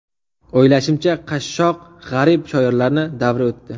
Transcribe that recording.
O‘ylashimcha, qashshoq, g‘arib shoirlarni davri o‘tdi.